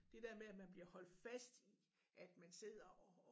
Det der med at man bliver holdt fast at man sidder og